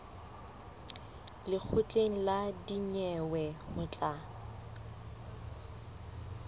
lekgotleng la dinyewe ho tla